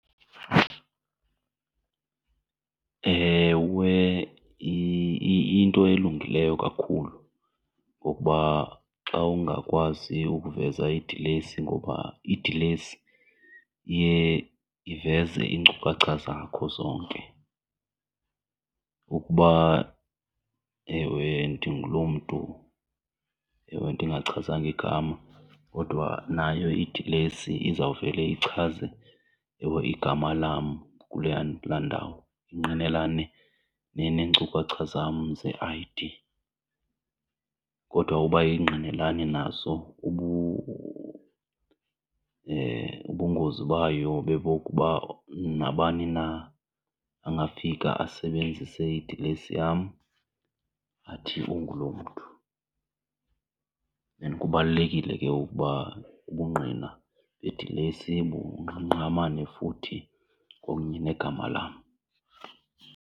Ewe, iyinto elungileyo kakhulu ngokuba xa ungakwazi ukuveza idilesi ngoba idilesi iye iveze iinkcukacha zakho zonke, ukuba ewe ndinguloo mntu ewe ndingachazanga igama. Kodwa nayo idilesi izawuvele ichaze ewe igama lam kuleya, kulaa ndawo, ingqinelane neenkcukacha zam ze I_D. Kodwa uba ayingqinelani nazo ubungozi bayo bebokuba nabani na angafika asebenzise idilesi yam athi ungulo mntu. And kubalulekile ke ukuba ubungqina bedilesi bungqamane futhi kwakunye negama lam.